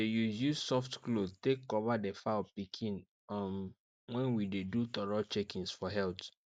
um we dey use use soft cloth take cover the fowl pikin um when we dey do thorough checkings for health